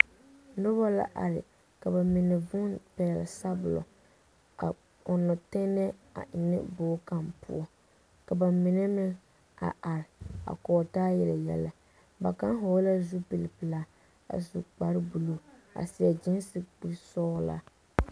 Noba la are ka bamine zuuni pɛgele sabolɔ a ɔnnɔ tɛnɛɛ a ennɛ bogi kaŋa poɔ ka bamine meŋ a are a kɔge taa yele yɛlɛ ba kaŋa hɔɔlɛɛ zupili pelaa a su kpare buluu a seɛ gyiisi kuri sɔgelaa.